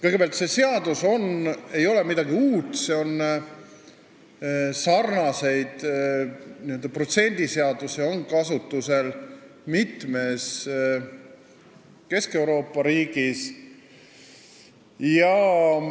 Kõigepealt, see ei ole midagi uut, sarnased n-ö protsendiseadused on kasutusel mitmes Kesk-Euroopa riigis.